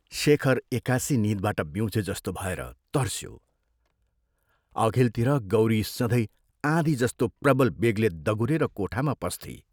शेखर एकासि नींदबाट बिउँझे जस्तो भएर तर्स्यो अघिल्तिर गौरी सधैं आँधी जस्तो प्रबल बेगले दगुरेर कोठामा पस्थी।